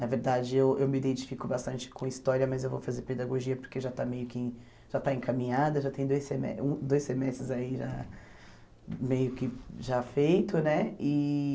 Na verdade, eu eu me identifico bastante com história, mas eu vou fazer pedagogia porque já está meio que, já está encaminhada, já tem dois seme um dois semestres aí já, meio que já feito, né? E